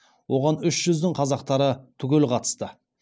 оған үш жүздің қазақтары түгел қатысты